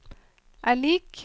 er lik